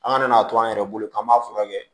An ka n'a to an yɛrɛ bolo k'an b'a furakɛ